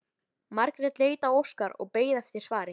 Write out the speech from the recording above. Margrét leit á Óskar og beið eftir svari.